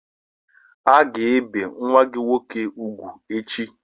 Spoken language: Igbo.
A ga-ebe nwa gị nwoke ugwu echi!